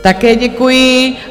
Také děkuji.